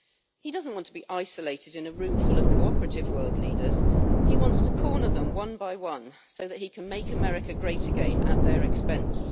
He doesn't want to be isolated in a room ful of cooperative world leaders, he wants to corner them one by one, so that he can make America great again at their expense.